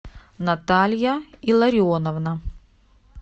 наталья илларионовна